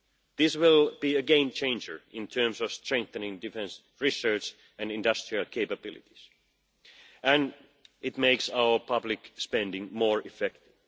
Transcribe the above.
This will be a game changer in terms of strengthening defence research and industrial capabilities, and it makes our public spending more effective.